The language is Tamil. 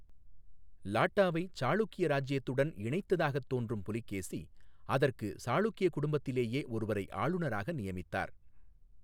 லாட்டாவை சாளுக்கிய இராஜ்யத்துடன் இணைத்ததாகத் தோன்றும் புலிகேசி, அதற்கு சாளுக்கிய குடும்பத்திலேயே ஒருவரை ஆளுநராக நியமித்தார்.